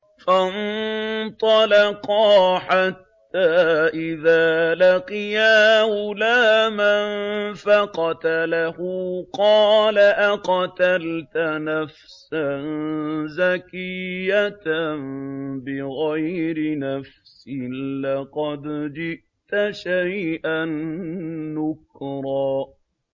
فَانطَلَقَا حَتَّىٰ إِذَا لَقِيَا غُلَامًا فَقَتَلَهُ قَالَ أَقَتَلْتَ نَفْسًا زَكِيَّةً بِغَيْرِ نَفْسٍ لَّقَدْ جِئْتَ شَيْئًا نُّكْرًا